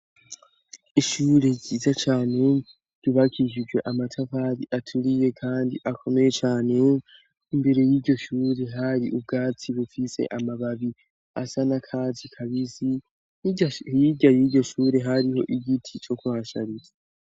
Ishure zyiza cane rubakijijwe amatavari aturiye, kandi akomeye cane imbere y'iryo shure hari ubwatsi bufise amababi asa na kazi kabizi yirya yiryo shure hariho igiti co kohashariza.